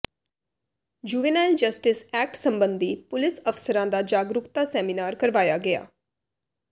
juvenile justice act ਸਬੰਧੀ police ਅਫ਼ਸਰਾਂ ਦਾ ਜਾਗਰੂਕਤਾ ਸੈਮੀਨਾਰ ਕਰਵਾਇਆ ਗਿਆ